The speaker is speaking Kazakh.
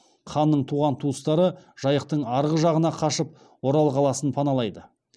ханның туған туыстары жайықтың арғы жағына қашып орал қаласын паналайды